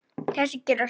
Það gera sumar þjóðir.